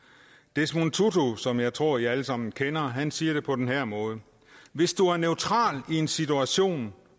desmond tutu som jeg tror i alle sammen kender siger det på den her måde hvis du er neutral i en situation